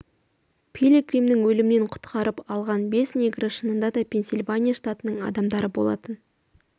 пилигримнің өлімнен құтқарып алған бес негрі шынында да пенсильвания штатының адамдары болатын